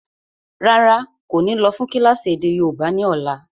Rárá, kò ní lọ́ fún kílásì èdè yóòbá ni ọ̀la.